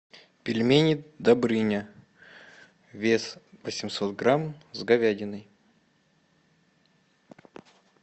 пельмени добрыня вес восемьсот грамм с говядиной